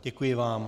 Děkuji vám .